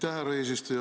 Aitäh, härra eesistuja!